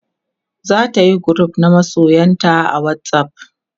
zatayi group na masoyanta a whatsapp